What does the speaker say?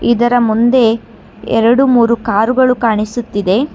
ಇದರ ಮುಂದೆ ಎರಡು ಮೂರು ಕಾರ್ಗಳು ಕಾಣಿಸುತ್ತಿದೆ.